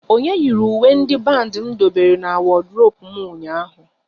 Onye yiri uwe ndị bandi m dobere n'wodurope m ụnyaahụ?